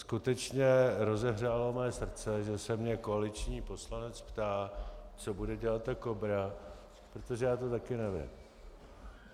Skutečně rozehřálo mé srdce, že se mě koaliční poslanec ptá, co bude dělat ta KOBRA, protože já to taky nevím.